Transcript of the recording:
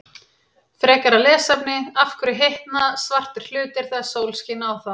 Frekara lesefni: Af hverju hitna svartir hlutir þegar sól skín á þá?